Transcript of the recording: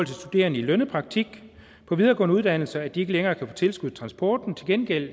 studerende i lønnet praktik på videregående uddannelser så de ikke længere kan få tilskud til transporten til gengæld